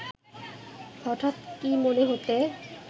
হঠাৎ কী মনে হতে